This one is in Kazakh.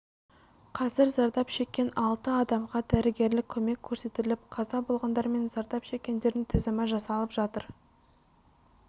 қазір зардап шеккен алты адамға дәрігерлік көмек көрсетіліп қаза болғандар мен зардап шеккендердің тізімі жасалып жатыр